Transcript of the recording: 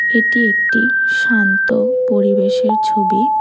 এটি একটি শান্ত পরিবেশের ছবি।